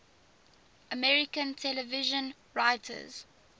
american television writers